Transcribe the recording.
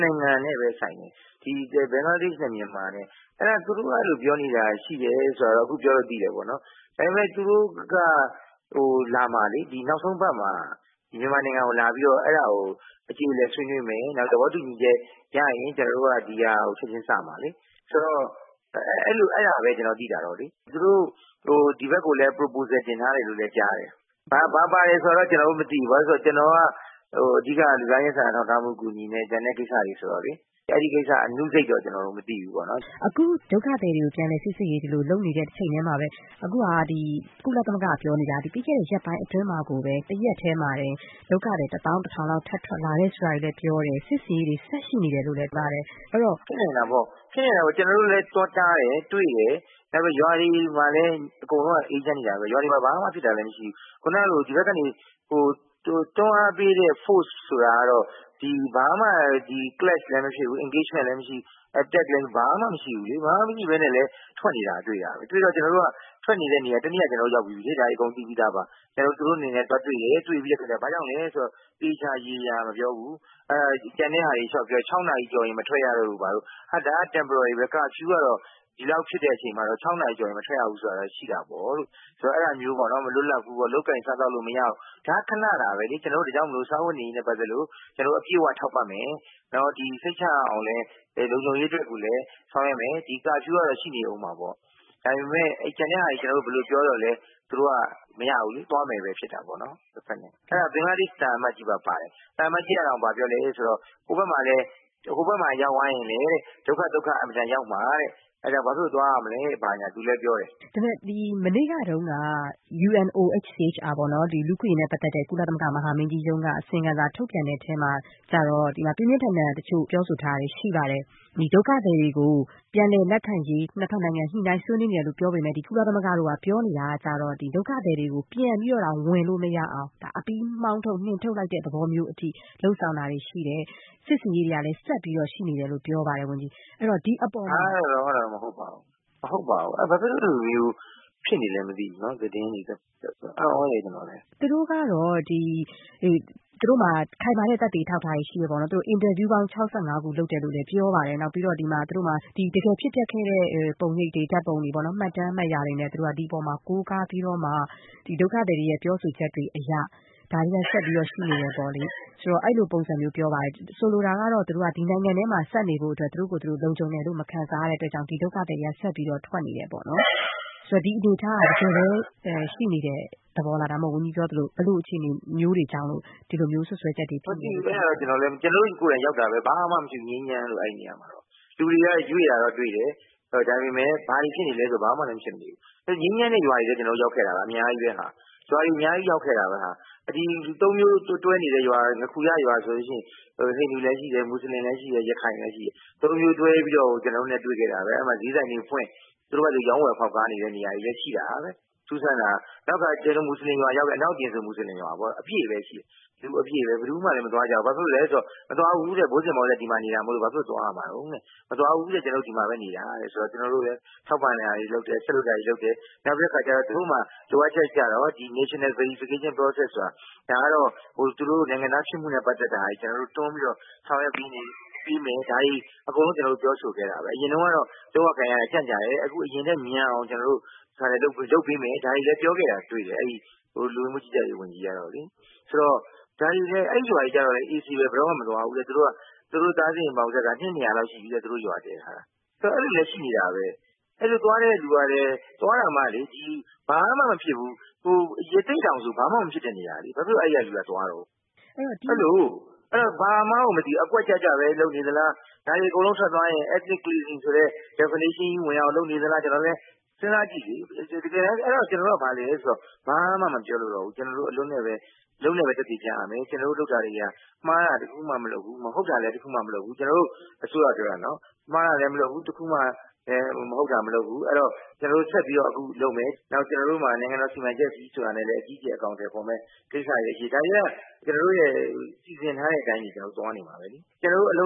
နိုင်ငံနဲ့ပဲ ဆိုင်တယ် ဘင်္ဂလားဒေ့ရှ်နဲ့ မြန်မာနဲ့ သူတို့အဲလိုမျိုး ပြောနေတာရှိတယ်ဆိုတာကတော့ အခုပြောလို့သိတယ်ပေါ့နော်။ ဒါပေမယ့် သူတို့က လာမှာလေ အခုဒီနောက်ဆုံးအပတ်မှာ ဒီမြန်မာနိုင်ငံကိုလာပြီးတော့ အဲဒါကို အကျေအလည်ဆွေးနွေးမယ်။ နောက်သဘောတူညီချက်ရရင် ဒီဟာကို ကျနော်တို့က ချက်ချင်းစမှာလေ ဆိုတော့ အဲဒါပဲ ကျနော်သိတာကတော့ သူတို့ ဒီဘက်ကိုလည်း Proposal တင်ထားတယ်လို့လဲကြားတယ်။ ဘာပါတယ်ဆိုတာကတော့ ကျနော်လည်းမသိဘူး ဘာဖြစ်လို့လဲဆိုတော့ ကျနော်တို့က အဓိက လူသားချင်းစာနာထောက်ထားမူအကူအညီနဲ့ ကျန်တဲ့ ကိစ္စတွေဆိုတော့လေ အဲဒီကိစ္စသေးစိတ်တော့ ကျနော်တို့မသိဘူးပေါ့နော်။ အခု ဒုက္ခသည်တွေကို ပြန်လည်စိစစ်ရေးလုပ်နေတဲ့ တချိန်တည်းမှာပဲ အခုက ကုလသမဂ္ဂကပြောနေတာက ပြီးခဲ့တဲ့ ရက်ပိုင်းအတွင်းမှာ ၁ ရက်တည်းမှာတင် ဒုက္ခသည် ၁ သောင်း ၁ ထောင်လောက် ထပ်ထွက်လာတယ်ဆိုတာကို ပြောတယ် စစ်ဆင်ရေးတွေလည်း ဆက်ရှိနေတယ်လို့ပြောတယ်။ ဖြစ်နိုင်တာပေါ့ ကျနော်တု့ိလည်း သွားတားတယ်၊ တွေ့တယ်။ ရွာတွေမှာလည်း အကုန်လုံးအေးချမ်းနေတာပဲ ဘာမှမဖြစ်ဘူး။ ခုနကလို ဒီဘက်ကနေ တွန်းအားပေးတဲ့ Force ဆိုတာကတော့ ဘာမှ ဒီ Clash လည်းမဖြစ်ဘူး။ Engagement လည်းမရှိဘူး။ တပ်တွေလုပ်တာလည်း ဘာမှမရှိဘူး။ ဘာမှမရှိလည်း ထွက်နေတာတွေ့ရတယ်။ တွေ့တော့ ကျနော်တို့က ထွက်နေတဲ့နေရာတွေကိုလည်း ကျနော်တို့ ရောက်ပြီးပြီ။ ဒါတွေအကုန်သိပြီးသားပါ။ ကျနော်တို့ သူတို့ကိုသွားတွေ့တယ် ဘာကြောင့်လဲဆိုတာကို သေချာမပြောဘူး။ ကျန်တဲ့ဟာတွေလျှောက်ပြောတယ်။ ၆ နာရီကျော်ရင်မထွက်ရတော့လို့ ၊ ဒါက Temporarily ပဲ curfew ကတော့ ဒီလောက်ဖြစ်တဲ့အချိန်မှာတော့ ၆ နာရီကျော်ရင် မထွက်ရဘူးဆိုတာကတော့ရှိတာပေါ့လို့ ဆိုတော့ အဲဒါမျိုးပေါ့နော် မလွတ်လပ်ဘူးပေါ့။ လုပ်ကိုင်စားသောက်လို့မရဘူး ဒါကတော့ ခဏတာပဲလေ ။ ဒါကြောင့် ကျနော်တို့ စားဝတ်နေရေးနဲ့ ပတ်သက်လို့ အပြည့်အဝထောက်ပံ့မယ်။ နောက်စိတ်ချရအောင်လည်း လုံခြုံရေးအတွက်ကိုလည်း ဆောင်ရွက်မယ် ဒီ curfew ကတော့ ရှိနေဦးမယ်။ ဒါပေမယ့် ကျန်တာတွေဘယ်လိုပြောသော်လည်း သူတို့ကမရဘူးလေ သွားမယ်ပဲ ဖြစ်တာပေါ့နော် တဖက် ဘင်္ဂလားဒေ့ရှ်နိုင်ငံကို ။ အဲဒါ ဘင်္ဂလားဒေ့ရှ်သံအမတ်ကြီးတောင်ပါတယ်။ ဟိုဘက်မှာ ရောက်သွားရင်လည်း ဒုက္ခအင်မတန်ရောက်မှာ အဲဒါဘာဖြစ်လို့သွားရမလဲ ဆိုပြီးတော့ သူလည်းပြောတယ်။ မနေ့တုန်းက UNOHCHR ပေါ့နော် လူ့အခွင့်အရေးနဲ့ ပတ်သက်တဲ့ ကုလမဟာမင်းကြီးရုံးက အစီရင်ခံစာထုတ်ပြန်တဲ့အထဲမှာ ပြင်းပြင်းထန်ထန်ပြောဆိုထားတာတွေရှိပါတယ်။ ဒုက္ခသည်တွေကို လက်ခံရေး ၂ ဖက်နိုင်ငံတွေ ညှိနှိုင်းဆွေးနွေးနေတယ်လို့ပြောပေမယ့် ဒီကုလသမဂ္ဂတို့ဘက်ကပြောနေတာကျတော့ ဒုက္ခသည်တွေကို ပြန်ပြီးတော့တောင်ဝင်လို့မရအောင် အပြီးနှင်ထုတ်လိုက်တဲ့ သဘောမျိုးအထိ လုပ်ဆောင်တာတွေရှိတယ် စစ်ဆင်ရေးတွေကလည်း ဆက်ပြီးတော့ ရှိနေတယ်လို့ပြောပါတယ် ဒီအပေါ်မှာ ဘယ်လိုများ တုံ့ပြန်ပါသလဲ။ အဲဒါတွေတော့ မဟုတ်ပါဘူး။ ဘာဖြစ်လို့အဲလိုမျိုးဖြစ်နေသလဲမသိဘူးပေါ့နော် သတင်းတွေ အံသြတယ်ကျတော်လည်း။ သူတို့ကတော့ သူတို့မှာ ခိုင်မာတဲ့ အထောက်အထားတွေရှိတယ်ပေါ့နော် အင်တာဗျူးပေါင်း ၆၅ ခုလုပ်ထားတယ်လု့ိလည်းပြောပါတယ်နောက်ပြီးတော့ တကယ်ဖြစ်ပျက်ခဲ့တဲ့ ပုံရိပ်တွေ မှတ်တမ်းမှတ်ရာတွေနဲ့ ဒီအပေါ်မှာ ကိုးကားပြီးတော့ ဒုက္ခသည်တွေရဲ့ပြောဆိုချက်တွေအရ ဒါတွေက ဆက်ပြီးတော့ ရှိနေတယ်ပေါ့လေ။ ဆိုတော့ အဲလိုပုံစံမျိုးပြောပါတယ်။ ဆိုလိုတာကတော့ ဒီနိုင်ငံထဲမှာဆက်နေဖို့အတွက် သူတို့ကိုသူတို့ လုံခြုံတယ်လို့ မခံစားရတဲ့အတွက်ကြောင့် ဒုက္ခသည်တွေက ဆက်ပြီးတော့ ထွက်နေတယ်ပေါ့နော် ဆိုတော့ ဒီအနေအထားက တကယ်ပဲ ရှိနေတဲ့သဘောလား။ ဒါမှမဟုတ် ဝန်ကြီးတို့ပြောသလို ဘယ်လိုအခြေအနေမျိုးတွေကြောင့်လို့ ဒီလိုစွပ်စွဲချက်တွေဖြစ်လာသလဲ။ မသိဘူးအဲဒါကတော့ ကျနော်တို့ ကိုယ်တိုင်လည်းရောက်တာပဲ ဘာမှမဖြစ်ဘူး ငြိမ်းချမ်းလို့ အဲဒီနေရာမှာ လူတွေကတော့ ရွေ့တာတော့တွေ့တယ် ဒါပေမယ့် ဘာတွေဖြစ်နေသလဲဆိုရင် ဘာမှလည်းမဖြစ်ဘူး။ ငြိမ်းချမ်းတဲ့ရွာတွေလည်း ကျနော်တို့ရောက်ခဲ့တယ် အများကြီးပဲ ၊ ဒီဘာသာ ၃ မျိုးတွဲနေတဲ့ရွာ ငါးခူရရွာဆိုရင် ဟိန္ဒူလည်းရှိတယ်၊ မွတ်စလင်လည်းရှိတယ် ရခိုင်လည်းရှိတယ်။ ၃ မျိုးတွဲပြီးတော့ ကျနော်တို့နဲ့ တွေ့ခဲ့တယ်။ အဲဒီမှာ ဈေးဆိုင်တွေဖွင့် သူတို့ဟာသူတို့ ရောင်းဝယ်ဖောက်ကားနေတဲ့ နေရာတွေလည်းရှိတာပဲ။ နောက်ပြီး အနောက်ပြင်မွတ်ဆလင်ရွာမှာဆိုရင် လူအပြည့်ပဲရှိတယ် ။ ဘယ်သူမှလည်းမသွားကြဘူး ဘာဖြစ်လဲဆိုရင် မသွားဘူးတဲ့ ဘိုးဘွားအစဉ်အဆက်ဒီမှာနေတာမို့လို့တဲ့ ဘာဖြစ်လို့သွားရမှာလဲ ကျနော်တို့ ဒီမှာပဲ နေတာတဲ့။ ဆိုတော့ ကျနော်တို့လည်း ထောက်ပံ့တာတွေ တခြားဆက်လုပ်စရာတွေလုပ်တယ်။ သူတို့မှာ လိုအပ်ချက်ကတော့ National Verification process ဆိုတာ ဒါကတော့ သူတို့ နိုင်ငံသားဖြစ်မှုနဲ့ ဆိုင်တာတွေကို ကျနော်တို့တွန်းပြီးတော့ ဆောင်ရွက်ပေးမယ် ဒါတွေအကုန်လုံး ကျနော်တို့ ပြောဆိုခဲ့တာပဲ။ အရင်တုန်းကတော့ လုပ်ရကိုင်ရတာ ကြာတယ် အခုကတော့ အရင်ထက်မြန်အောင်လုပ်ပေးမယ် ဒါတွေလည်းပြောခဲ့တယ် လူဝင်မှုကြီးကြပ်ရေးဝန်ကြီးကတော့လေ ။ ဆိုတော့ အဲဒီရွာတွေကတော့ အေးဆေးပဲ ဘယ်တော့မှ မသွားဘူးတဲ့ သူတို့ ရွာတည်ထားတာ အနှစ် ၂၀၀ လောက်ရှိပြီတဲ့။ ဆိုတော့ အဲလိုလူတွေလည်းရှိနေတာပဲ အဲလိုသွားတဲ့လူတွေကလည်း သွားတာမှ ဘာမှမဖြစ်တဲ့ ရသေ့တောင်ဆိုရင် ဘာမှမဖြစ်တဲ့နေရာ ဘာဖြစ်လို့ အဲဒီကလူတွေသွားတုန်း ။ အဲတော့ ဘာမှန်းကိုမသိဘူး အကွက်ကျကျပဲ လုပ်နေသလား။ ဒါတွေအကုန်လုံးထွက်သွားရင် Ethnic Cleansing ဆိုတဲ့ Definition ဆိုတာကို ဝင်အောင်လုပ်နေသလား။ တကယ်တန်း ကျနေ်ာတို့က ဘာလဲဆိုတော့ ဘာမှ မပြောလိုတော့ဘူး ကျနော်တို့ အလုပ်နဲ့ပဲ သက်သေပြရမယ်။ ကျနော်တို့ အစိုးရ လုပ်တာတွေဟာ မှားတာတခုမှမလုပ်ဘူး မဟုတ်တာတခုမှမလုပ်ဘူး ။ အဲဒီတော့ ကျနော်တို့ ဆက်ပြီးတော့ လုပ်တယ် နောက်ပြီးတော့ ကျနော်တို့မှာ နိုင်ငံတော် စီမံချက်ကြီးဆိုပြီးတော့ အကြီးအကျယ်အကောင်အထည်ဖော်မယ့် ကိစ္စလည်းရှိတယ် ဒါတွေကို ကျနော်တို့ စီစဉ်ထားတဲ့အတိုင်းသွားနေမှာပဲလေ၊ ကျနော်တို့အလု